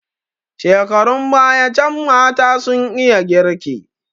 Shekarun baya can mata sun iya girki.